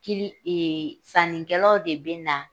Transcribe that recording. Kili sannikɛlaw de bɛ na